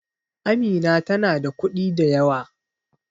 Amina tana da kuɗi da yawa